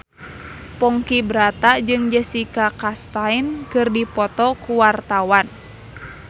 Ponky Brata jeung Jessica Chastain keur dipoto ku wartawan